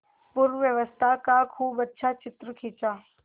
पूर्वावस्था का खूब अच्छा चित्र खींचा